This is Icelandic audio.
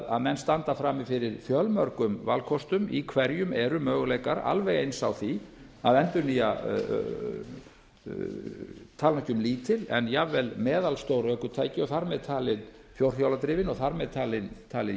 að menn standa frammi fyrir fjölmörgum valkostum í hverjum eru möguleikar alveg eins á því að endurnýja tala nú ekki um lítil en jafnvel meðalstór ökutæki þar með talið fjórhjóladrifin og þar með talda